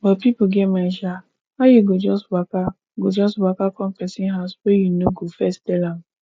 but pipo get mind sha how you go just waka go just waka come pesin house wey you no go first tel am